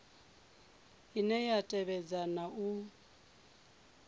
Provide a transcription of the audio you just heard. ine ya tevhedza na u